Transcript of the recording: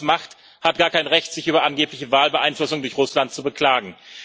Wer so etwas macht, hat gar kein Recht, sich über angebliche Wahlbeeinflussung durch Russland zu beklagen.